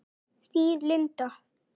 Þín, Linda.